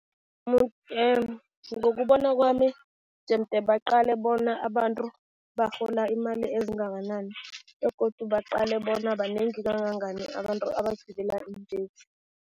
Ngokubona kwami jemde baqale bona abantu barhola imali ezingakanani begodu baqale bona banengi kangangani abantu abagibela iimbhesi.